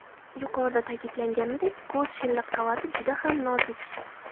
Yuqorida ta’kidlanganidek ko‘z shilliq qavati juda ham nozik.